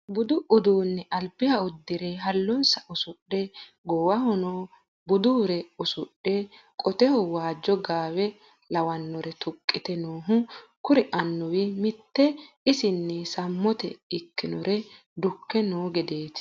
Budu uduune albiha uddire ha'lonsa usudhe goowahono budure usudhe qoteho waajo gawe lawanore tuqeti noohu kuri amuwu mite isini samote ikkinore dukke no gedeti.